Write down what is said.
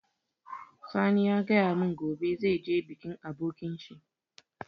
Sani ya gaya mun gobe zai je bikin abokin shi